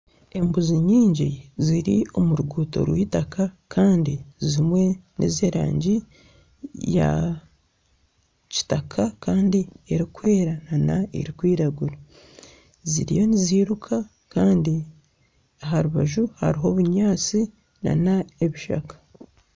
Embuzi nyingi ziri omu ruguuto rw'eitaka kandi ezimwe nez'erangi ya kitaka kandi erikwera nana erukwiragura . Ziriyo niziruka kandi aha rubaju hariho obunyaatsi nana ebishaka.